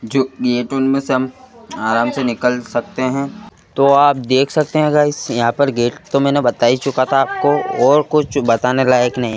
जो गेट उनमें से हम आराम से निकल सकते हैं तो आप देख सकते हैं गाइस यहां पर गेट तो मैंने बता ही चुका था आपको और कुछ बताने लायक नहीं --